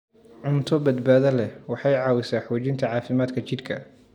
Cunto badbaado leh waxay caawisaa xoojinta caafimaadka jidhka.